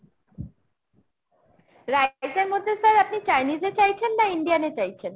rice এর মধ্যে sir আপনি Chinese এ চাইছেন না Indian এ চাইছেন ?